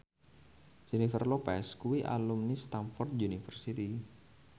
Jennifer Lopez kuwi alumni Stamford University